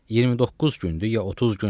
29 gündür ya 30 gündür?